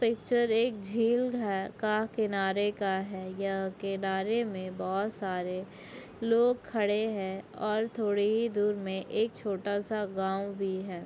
Picture एक झील घ का किनारे का हैं यह किनारे में बहोत सारे लोग खड़े हैं और थोड़ी ही दूर में एक छोटा-सा गांव भी हैं।